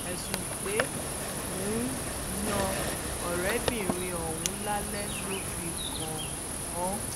ẹ̀sùn pé ó ń yan ọ̀rẹ́bìnrin òun lálè ló fi kàn-án